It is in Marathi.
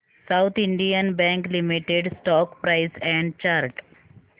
south Indian bank limited stock price and chart